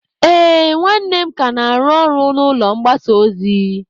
Ee, nwanne m ka na-arụ ọrụ n'ụlọ mgbasa ozi.